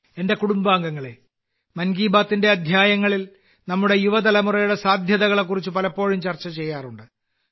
എന്റെ കുടുംബാംഗങ്ങളേ മൻ കി ബാത്ത്ന്റെ അധ്യായങ്ങളിൽ നമ്മുടെ യുവതലമുറയുടെ സാധ്യതകളെക്കുറിച്ച് പലപ്പോഴും ചർച്ച ചെയ്യാറുണ്ട്